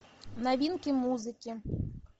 новинки музыки